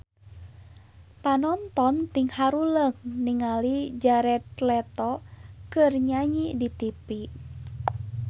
Panonton ting haruleng ningali Jared Leto keur nyanyi di tipi